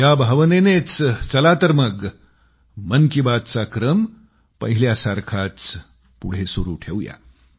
या भावनेनेच चला तर मग मन की बात चा क्रम पहिल्यासारखाच पुढं सुरू ठेवूया